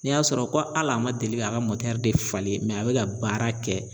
N'i y'a sɔrɔ ko hal'a ma deli k'a ka de falen mɛ a bɛ ka baara kɛ